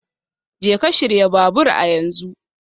Jeka shirya babur a yanzu